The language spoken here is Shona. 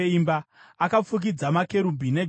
Akafukidza makerubhi negoridhe.